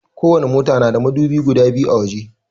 Ko wani mota na da madubi guda biyu a waje